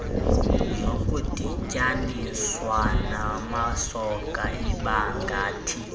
zokudityaninswa namasoka ibangathi